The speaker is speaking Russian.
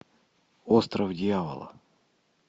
остров дьявола